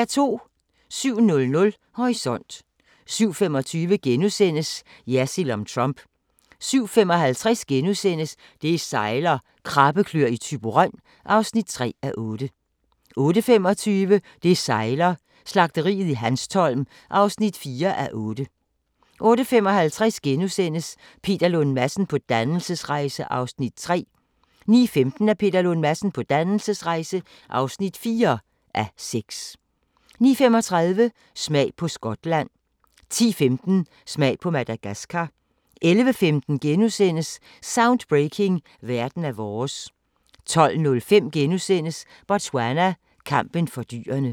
07:00: Horisont 07:25: Jersild om Trump * 07:55: Det sejler - Krabbekløer i Thyborøn (3:8)* 08:25: Det sejler - Slagteriet i Hanstholm (4:8) 08:55: Peter Lund Madsen på dannelsesrejse (3:6)* 09:15: Peter Lund Madsen på dannelsesrejse (4:6) 09:35: Smag på Skotland 10:15: Smag på Madagaskar 11:15: Soundbreaking – Verden er vores * 12:05: Botswana: Kampen for dyrene *